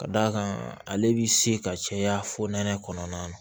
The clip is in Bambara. Ka d'a kan ale bi se ka caya fo nɛnɛ kɔnɔna na